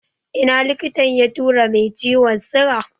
Ina likitan ya tura mai ciwon sigan?